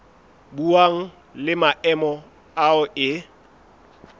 buang le maemo ao e